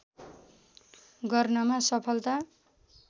गर्नमा सफलता